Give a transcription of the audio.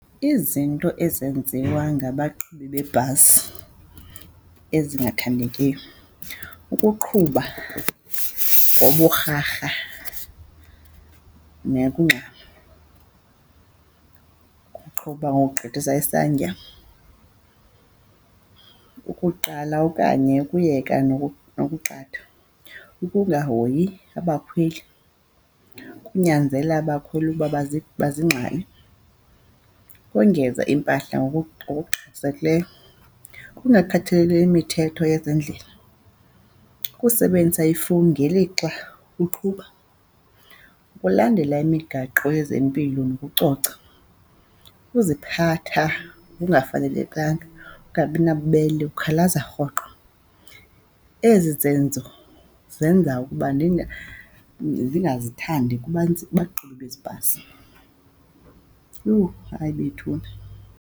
Izinto ezenziwa ngabaqhubi bebhasi ezingathandekiyo kukuqhuba ngoburharha nekungxama, ukuqhuba ngokugqithisa isantya, ukuqala okanye ukuyeka nokuqatha, ukungahoyi abakhweli, ukunyanzela abakhweli ukuba bazingxale, ukongeza impahla ngokungxamisekileyo, ukungakhathaleli imithetho yezendlela, ukusebenzisa ifowuni ngelixa uqhuba, ukulandela imigaqo yezempilo nokucoca, ukuziphatha ngokungafanelekanga, ukungabi nabubele ukhalaza rhoqo. Ezi zenzo zenza ukuba ndingazithandi kubantu, baqhubi bezi bhasi. Yho, hayi bethuna.